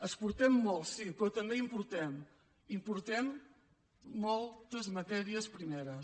exportem molt sí però també importem importem moltes matèries primeres